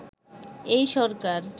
এই সরকার